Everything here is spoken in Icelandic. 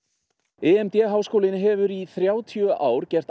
IMD háskólinn hefur árlega í þrjátíu ár gert